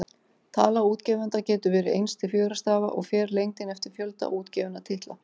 Tala útgefanda getur verið eins til fjögurra stafa, og fer lengdin eftir fjölda útgefinna titla.